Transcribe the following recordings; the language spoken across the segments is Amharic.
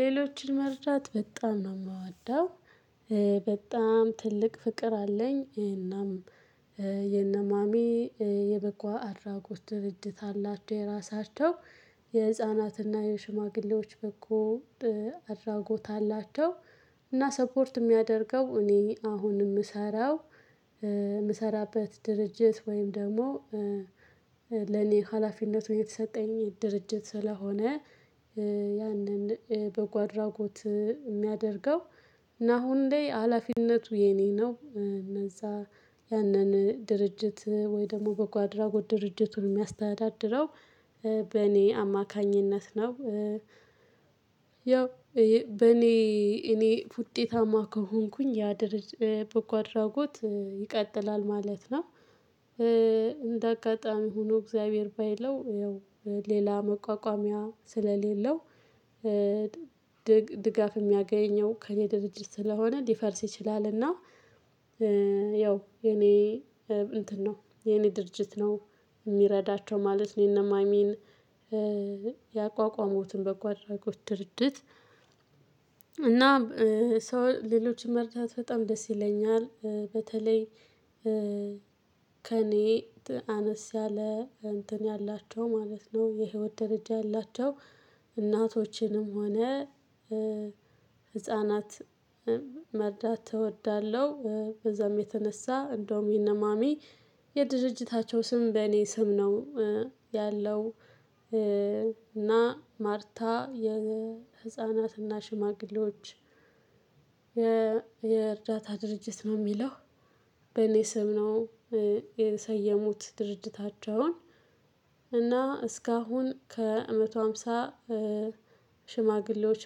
ሌሎችን መርዳት በጣም ነው የምወደው። በጣም ትልቅ ፍቅር አለኝ እናም። የነማሚ የበጎ አድራጎት ድርጅት አላቸው የራሳቸው የህፃናትና የሽማግሌዎች በጎ አድራጎት አላቸው። እና ሰፖርት የሚያደርገው እኔ አሁን የምሰራው። የምሰራበት ድርጅት ወይም ደግሞ ለኔ ሀላፊነቱ የተሰጠኝ ድርጅት ስለሆነ ያንን በጎ አድራጎት የሚያደርገው እና አሁን ላይ ሀላፊነቱ የኔ ነው እነዛ ያንን ድርጅት ወይ ደግሞ በጎ አድራጎት ድርጅቱን የሚያስተዳድረው በእኔ አማካኝነት ነው። ያው በእኔ እኔ ውጤታማ ከሆንኩኝ ያ ድርጅት በጎ አድራጎት ይቀጥላል ማለት ነው። እንደ አጋጣሚ ሆኖ እግዚአብሔር ባይለው ያው ሌላ መቋቋሚያ ስለሌለው። ድጋፍ የሚያገኘው ከእኔ ድርጅት ስለሆነ ሊፈርስ ይችላልና ያው። የኔ እንትን ነው የኔ ድርጅት ነው የሚረዳቸው ማለት ነው የነማሚን ያቋቋሙትን በጎ አድራጎት ድርጅት። እና ሰው ሌሎችን መርዳት በጣም ደስ ይለኛል። በተለይ ከእኔ አነስ ያለ እንትን ያላቸው ማለት ነው የህይወት ደረጃ ያላቸው እናቶችንም ሆነ። ህፃናት መርዳት እወዳለሁ። በዛም የተነሳ እንደውም የነማሚ የድርጅታቸው ስም በእኔ ስም ነው ያለው። እና ማርታ የህፃናትና ሽማግሌዎች የእርዳታ ድርጅት ነው የሚለው በኔ ስም ነው የሰየሙት ድርጅታቸውን። እና እስካሁን ከመቶ ሃምሳ ሽማግሌዎች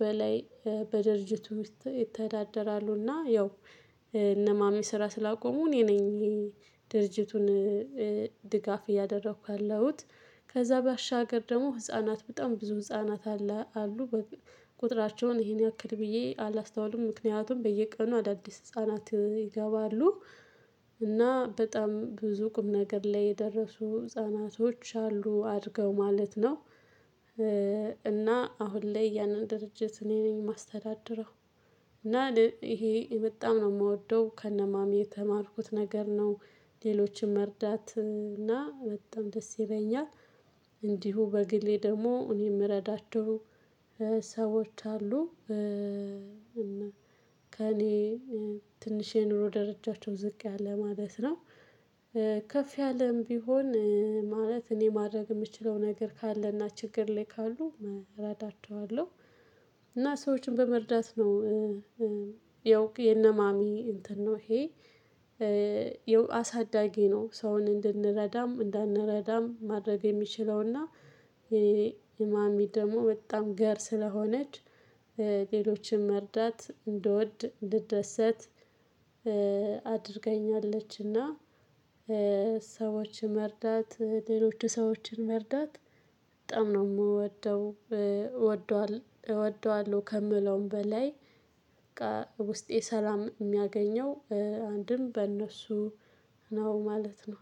በላይ በድርጅቱ ውስጥ ይተዳደራሉና ያው እነ ማሚ ስራ ስላቆሙ እኔ ነኝ። ድርጅቱን ድጋፍ እያደረኩ ያለሁት። ከዛ ባሻገር ደግሞ ህፃናት በጣም ብዙ ህፃናት አለ አሉ ቁጥራቸውን ይሄን ያክል ብዬ አላስተዋልም ምክንያቱም በየቀኑ አዳዲስ ህፃናት ይገባሉ። እና በጣም ብዙ ቁም ነገር ላይ የደረሱ ህፃናቶች አሉ አድርገው ማለት ነው። እና አሁን ላይ ያንን ድርጅት እኔ ነኝ የማስተዳደረው። እና ይሄ የመጣም ነው የምወደው ከነማሚ የተማርኩት ነገር ነው። ሌሎችን መርዳት እና በጣም ደስ ይለኛል። እንዲሁ በግሌ ደግሞ እኔ የምረዳችሁ ሰዎች አሉ። እና ከእኔ ትንሽ የኑሮ ደረጃቸው ዝቅ ያለ ማለት ነው። ከፍ ያለም ቢሆን ማለት እኔ ማድረግ የምችለው ነገር ካለና ችግር ላይ ካሉ እረዳቸዋለሁ። እና ሰዎችን በመርዳት ነው። ያው የነማሚ እንትን ነው። ይሄ አሳዳጊ ነው ሰውን እንድንረዳም እንዳንረዳም ማድረግ የሚችለውና የማሚ ደግሞ በጣም ገር ስለሆነች ሌሎችን መርዳት እንድወድ እንድደሰት አድርገኛለችና። ሰዎችን መርዳት ሌሎች ሰዎችን መርዳት በጣም ነው። እወደዋለሁ ከምለውም በላይ በቃ ውስጤ ሰላም የሚያገኘው አንድም በእነሱ ነው ማለት ነው